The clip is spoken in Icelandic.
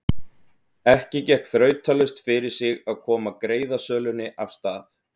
Ekki gekk þrautalaust fyrir sig að koma greiðasölunni af stað.